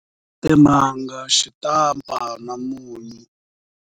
Timanga, xitampa na munyu.